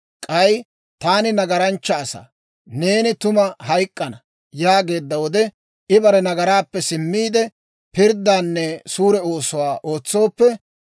K'ay taani nagaranchcha asaa, «Neeni tuma hayk'k'ana» yaageedda wode, I bare nagaraappe simmiide, pirddaanne suure oosuwaa ootsooppe,